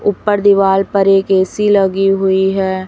ऊपर दीवाल पर एक ए_सी लगी हुई है।